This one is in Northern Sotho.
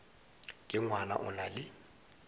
ke ngwana o na le